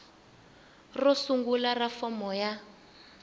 ro sungula ra fomo ya